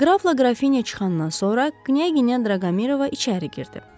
Qrafla Qrafinya çıxandan sonra Knyaqinya Draqomirova içəri girdi.